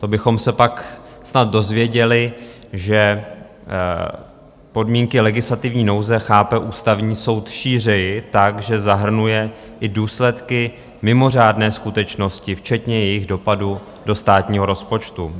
To bychom se pak snad dozvěděli, že podmínky legislativní nouze chápe Ústavní soud šířeji, tak, že zahrnuje i důsledky mimořádné skutečnosti, včetně jejich dopadu do státního rozpočtu.